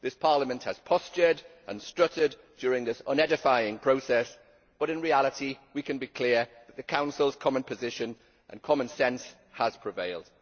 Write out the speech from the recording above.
This Parliament has postured and strutted during this unedifying process, but in reality we can be clear that the Council's common position and common sense has prevailed.